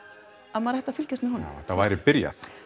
að maður ætti að fylgjast með honum að þetta væri byrjað